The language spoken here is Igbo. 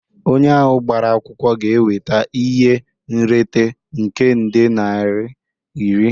Onye ahụ gbara akwụkwọ ga-enweta ihe nrite nke nde naira iri